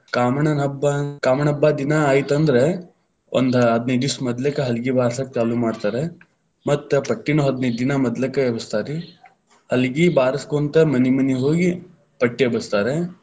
ಕಾಮಣ್ಣನ ಹಬ್ಬಾ ಕಾಮಣ್ಣ ಹಬ್ಬಾ ದಿನಾ ಐತಂದ್ರ, ಒಂದ ಹದಿನೈದ ದಿವಸ ಮೋದಲೇಕ್ ಹಲಗಿ ಬಾರಸಾಕ ಚಾಲು ಮಾಡ್ತಾರ ಮತ್ ಪಟ್ಟಿನು ಹದನೈದ ದಿನಾ ಮದಲಕ ಎಬಸ್ತಾರ್ರಿ, ಹಲಗಿ ಬಾರಸ್ಕೊಂತ ಮನಿ ಮನಿಗ ಹೋಗಿ ಪಟ್ಟಿ ಎಬಸ್ತಾರ.